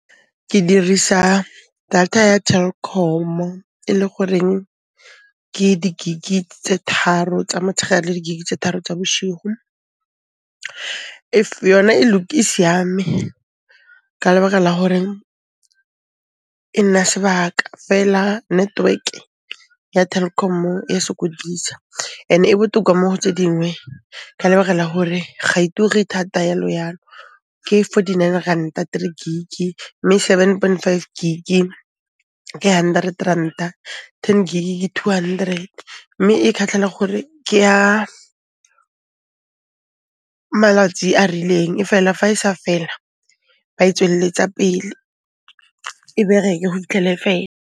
Ke dirisa data ya Telkom-o e le goreng ke di gig-i tse tharo tsa motshegare le di gig-i tse tharo tsa bošigu. Yona e siame ka lebaka la hore e nna sebaka, fela network-e ya Telkom-o ya sokodisa ene e botoka mo go tse dingwe ka lebaka la hore ga e ture thata yalo-yalo. Ke fourty nine ranta three gig-i mme seven point five gig-i ke hundred ranta, ten gig-i ke two hundred, mme e khatlhela gore ke a malatsi a rileng, efela fa e sa fela ba e tswelletsa pele, e bereke go fitlhele e fela.